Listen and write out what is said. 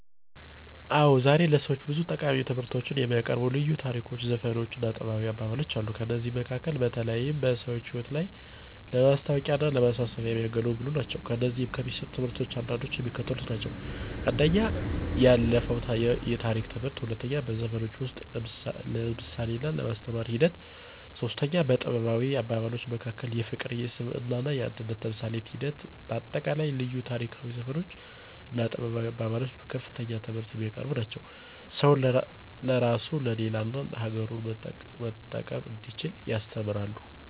አዎ ዛሬ ለሰዎች ብዙ ጠቃሚ ትምህርቶችን የሚያቀርቡ ልዩ ታሪኮች ዘፈኖች እና ጥበባዊ አባባሎች አሉ። ከእነዚህም መካከል በተለይም በሰዎች ህይወት ላይ ለማስታዎቂያና ለማሳሰቢያ የሚያገለግሉ ናቸው። ከእነዚህም ከሚሰጡት ትምህርቶች አንዳንዶቹ የሚከተሉት ናቸው፦ 1. የአለፋው የታሪክ ትምህርት 2. በዘፈኖች ውስጥ የምሳሌና የማስተማር ሒደት 3. በጥበባዊ አባባሎች መካከል የፍቅር የሰብአዊነትና የአንድነት ተምሳሌት ሒደት በአጠቃላይ ልዩ ታሪኮች ዘፈኖች እና ጥበባዊ አባባሎች በከፍተኛ ትምህርት የሚያቀርቡ ናቸው። ሰውን ለራሱ ለሌላ እና አገሩን መጠቀም እንዲችል ያስተምራሉ።